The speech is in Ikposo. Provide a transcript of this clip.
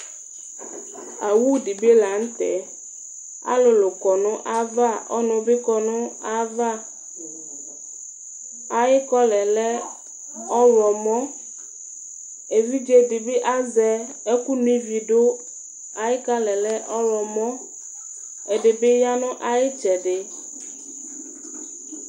Awú di bi la n'tɛ, alulu kɔ nu ava, ɔnu bi kɔ n'ava , ayi kɔlá yɛ lɛ ɔwlɔmɔ, evidze di bi azɛ ɛku nó ivi dù, ayi kalaɛ lɛ ɔwlɔmɔ, ɛdi bi ya nu ayi itsɛdi